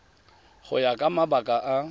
go ya ka mabaka a